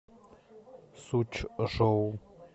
сучжоу